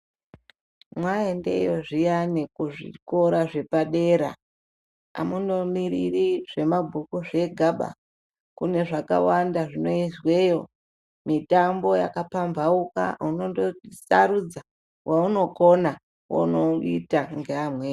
Mwa endeyo zviyani ku zvikora zvepa dera amuno miriri zve mabhuku zvega ba kune zvakawanda zvino izweyo mitambo yaka pambauka unondo sarudza wa unokona wono ita nge amweni.